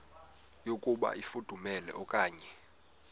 yokuba ifudumele okanye